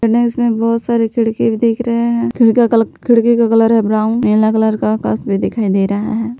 ने इसमें बहोत सारे खिड़की भी दिख रहे है खिड़की का कलर है ब्राउन नीला कलर का आकाश भी दिखाई दे रहा है।